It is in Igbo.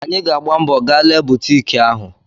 Anyị ga-agba mbọ ga lee butik ahụ.